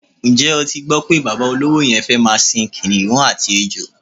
Ǹjé̩ o ti gbó̩ pé bàbá olówo ye̩n fé̩ máa sin kìnìún àti ejò?